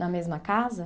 Na mesma casa?